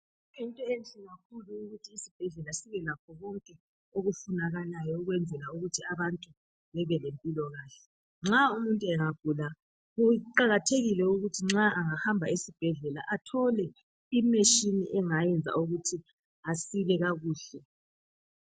Kuyinto enhle kakhulu ukuthi isibhedlela ukuthi sibe lakho konke okufunakalayo ukuyenzela ukuthi abantu bebe lempilakahle, nxa umuntu engagula kuqakathekile ukuthi engahamba ezibhedlela athole imetshini angenza ukutji asile kakuhle.